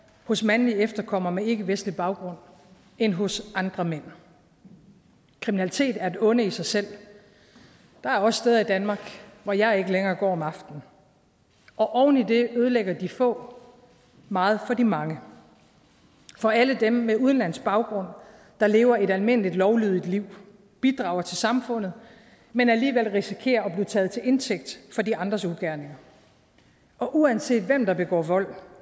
hos mandlige efterkommere med ikkevestlig baggrund end hos andre mænd kriminalitet er et onde i sig selv der er også steder i danmark hvor jeg ikke længere går om aftenen og oven i det ødelægger de få meget for de mange for alle dem med udenlandsk baggrund der lever et almindeligt lovlydigt liv bidrager til samfundet men alligevel risikerer at blive taget til indtægt for de andres ugerninger og uanset hvem der begår vold